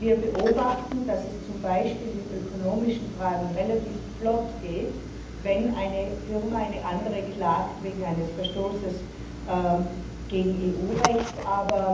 Wir beobachten, dass es zum Beispiel in ökonomischen Fragen relativ flott geht, wenn eine Firma eine andere wegen eines Verstoßes gegen EU Recht verklagt.